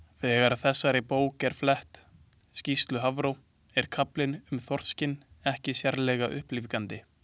Þegar þessari bók er flett, skýrslu Hafró, er kaflinn um þorskinn ekki sérlega upplífgandi.